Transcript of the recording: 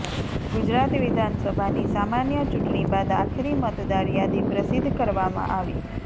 ગુજરાત વિધાનસભાની સામાન્ય ચૂંટણી બાદ આખરી મતદાર યાદી પ્રસિદ્ધ કરવામાં આવી